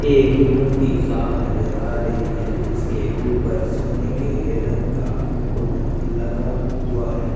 ये एक मूर्ति साफ़ नज़र आ रही है जिसके ऊपर सोने का रंग का मुकुट लगा हुआ है।